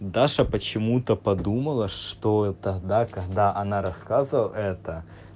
даша почему-то подумала что это тогда когда она рассказывала это